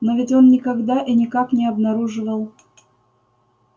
но ведь он никогда и никак не обнаруживал